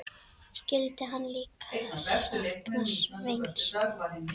Skyldi hann líka sakna Sveins?